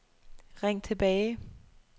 ring tilbage